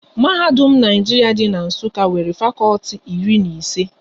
Mahadum Naijiria dị n'Nsukka nwere fakọlti iri na ise